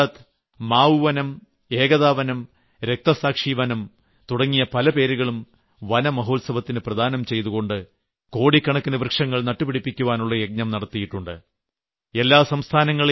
ഈ വർഷം ഗുജറാത്ത് മാവ് വനം ഏകതാ വനം രക്തസാക്ഷി വനം തുടങ്ങിയ പല പേരുകളും വനമഹോത്സവത്തിന് പ്രദാനം ചെയ്തുകൊണ്ട് കോടിക്കണക്കിന് വൃക്ഷങ്ങൾ നട്ടുപിടിപ്പിക്കുവാനുള്ള യജ്ഞം നടത്തിയിട്ടുണ്ട്